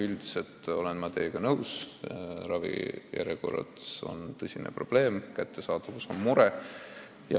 Üldiselt olen ma teiega nõus: ravijärjekorrad on tõsine probleem, arstiabi kehv kättesaadavus on suur mure.